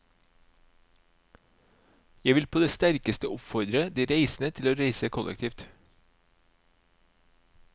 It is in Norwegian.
Jeg vil på det sterkeste oppfordre de reisende til å reise kollektivt.